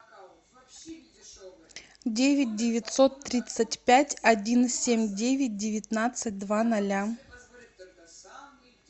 девять девятьсот тридцать пять один семь девять девятнадцать два ноля